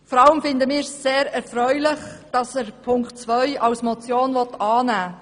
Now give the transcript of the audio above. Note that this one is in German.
Vor allem finden wir sehr erfreulich, dass er Ziffer 2 als Motion annehmen will.